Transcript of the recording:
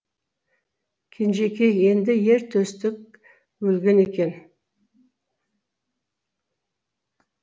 кенжекей енді ер төстік өлген екен